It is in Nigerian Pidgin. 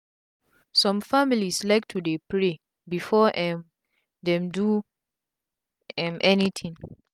sum families like to dey pray before um dem do um any tin